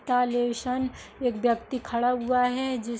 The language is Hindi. एक व्यक्ति खड़ा हुआ है जिस --